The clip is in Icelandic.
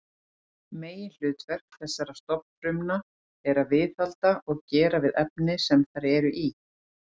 Meginhlutverk þessara stofnfrumna er að viðhalda og gera við vefina sem þær eru í.